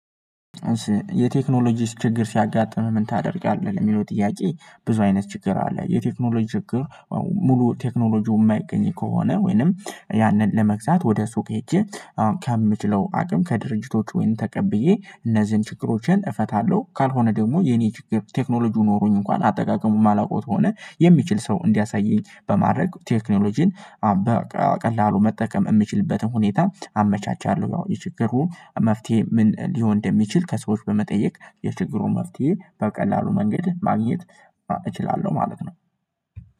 የቴክኖሎጂስ ችግር ሲያጋጥምህ ምን ታደርጊያለህ? የሚለው ጥያቄ ብዙ አይነት ችግር አለ የቴክኖሎጂ ችግር። ሙሉ ቴክኖሎጂው የማይገኝ ከሆነ ወይንም ያንን ለመግዛት ወደ ሱቅ ሄጄ ከምችለው አቅም ከድርጅቶች ወይም ተቀብዬ እነዚህን ችግሮችን እፈታለሁ። ካልሆነ ደግሞ የኔ ችግር ቴክኖሎጂው ኖሮኝ እንኳን አጠቃቀሙ የማላውቀው ከሆነ የሚችል ሰው እንዲያሳየኝ በማድረግ ቴክኖሎጂን በቀላሉ መጠቀም የሚችልበትን ሁኔታ አመቻቻለሁ። ያው የችግሩ መፍትሄ ምን ሊሆን እንደሚችል ከሰዎች በመጠየቅ የችግሩ መፍትሄ በቀላሉ መንገድ ማግኘት እችላለሁ ማለት ነው።